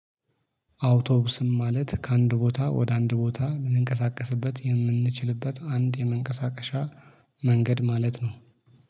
አውቶቡስም ማለት ከአንድ ቦታ ወደ አንድ ቦታ ልንቀሳቀስበት የምንችልበት አንድ የመንቀሳቀሻ መንገድ ማለት ነው